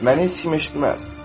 məni heç kim eşitməz.